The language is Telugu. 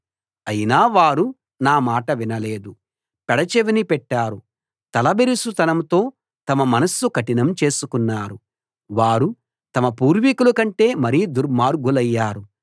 అయినా వారు నా మాట వినలేదు పెడచెవిని పెట్టారు తలబిరుసు తనంతో తమ మనస్సు కఠినం చేసుకున్నారు వారు తమ పూర్వీకుల కంటే మరీ దుర్మార్గులయ్యారు